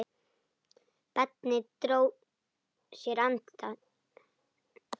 Barnið dró að sér andann.